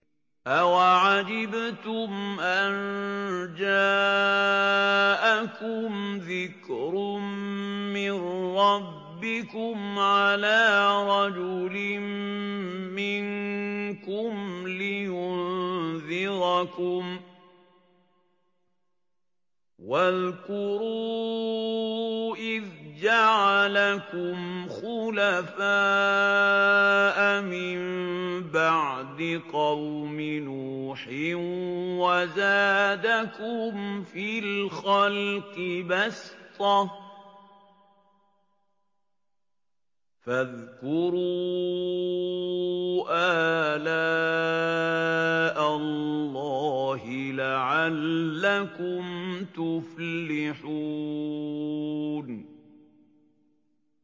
أَوَعَجِبْتُمْ أَن جَاءَكُمْ ذِكْرٌ مِّن رَّبِّكُمْ عَلَىٰ رَجُلٍ مِّنكُمْ لِيُنذِرَكُمْ ۚ وَاذْكُرُوا إِذْ جَعَلَكُمْ خُلَفَاءَ مِن بَعْدِ قَوْمِ نُوحٍ وَزَادَكُمْ فِي الْخَلْقِ بَسْطَةً ۖ فَاذْكُرُوا آلَاءَ اللَّهِ لَعَلَّكُمْ تُفْلِحُونَ